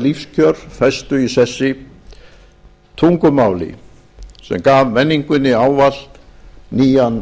lífskjör festu í sessi tungumáli sem gaf menningunni ávallt nýjan